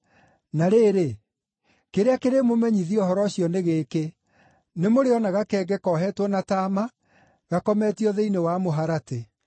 Na rĩrĩ, kĩrĩa kĩrĩmũmenyithia ũhoro ũcio nĩ gĩkĩ: Nĩmũrĩona gakenge koheetwo na taama gakometio thĩinĩ wa mũharatĩ.”